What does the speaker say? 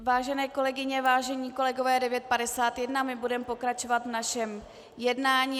Vážené kolegyně, vážení kolegové, je 9.51, budeme pokračovat v našem jednání.